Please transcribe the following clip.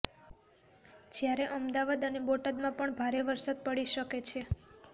જ્યારે અમદાવાદ અને બોટાદમાં પણ ભારે વરસાદ પડી શકે છે